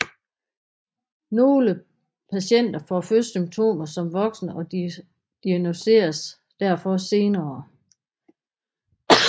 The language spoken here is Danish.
Nogle patienter får først symptomer som voksne og diagnosticeres derfor senere